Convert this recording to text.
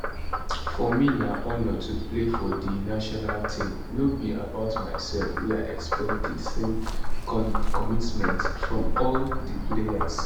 for me na honour to play for di national team no be about myself wey i expect di same commitment from all di players